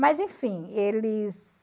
Mas, enfim, eles...